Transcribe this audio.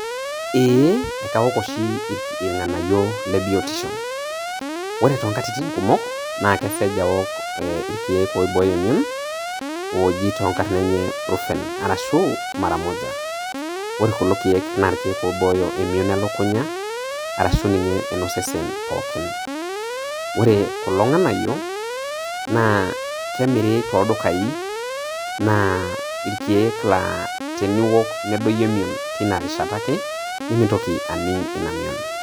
ee ekaok oshi ilnganayio lebiotisho ,ore tonkatitin kumok kesej aok ee ilkek oiboyo emion oji tonkarn enye brufen arashu mara moja ore kulo keek na ilkeek oiboyo emion elukunya ashu ninye eno sesen pookin ore kulo nganayio na kemiri toldukai naa ilkeek naa teniok nedoyio emion tina rishata ake nemintoki aning emion.